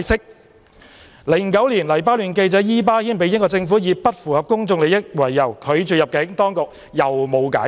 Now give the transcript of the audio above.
在2009年，黎巴嫩記者伊巴謙被英國政府以"不符合公眾利益"為由拒絕入境，當局沒有解釋。